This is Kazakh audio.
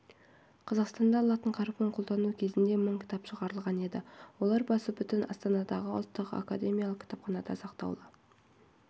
қазақстанда латын әрпін қолдану кезінде мың кітап шығарылған еді олар басы бүтін астанадағы ұлттық академиялық кітапханада сақтаулы